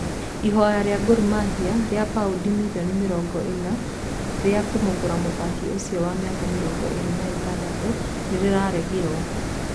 Ihoya rĩa Gor mahia rĩa pauni mirioni mĩrongo ĩna rĩa kũmũgũra mũthaki ũcio wa mĩaka mĩrongo ĩrĩ na ĩtandatũ nĩ rĩraregirwo.